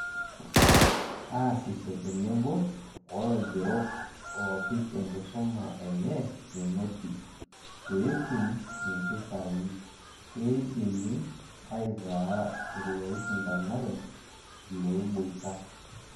Aasisho tenebo wolaigerok oopikenkisuma enye menoti, peetum impisai , keidimi aitaa ilooishindanare, ilooboita.